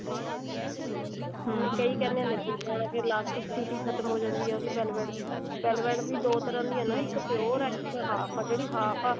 ਕਈ ਕਹਿੰਦੇ ਨੇ ਨਹੀਂ ਲਗਾਉਣਾ ਫੇਰ elastic city ਖਤਮ ਹੋ ਜਾਂਦੀ ਹੈ ਉਹਦੀ velvet ਦੀ velvet ਦੀ ਦੋ ਤਰ੍ਹਾਂ ਦੀ ਹੈ ਨਾ ਇੱਕ pure ਹੈ ਇੱਕ half ਹੀ ਜਿਹੜੀ half ਹੈ